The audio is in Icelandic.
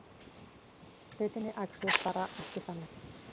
Hlutirnir æxluðust bara ekki þannig.